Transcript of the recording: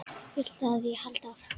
Viltu að ég haldi áfram?